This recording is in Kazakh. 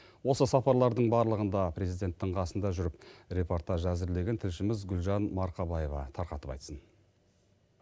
осы сапаралардың барлығында президенттің қасында жүріп репортаж әзірлеген тілшіміз гүлжан марқабаева тарқатып айтсын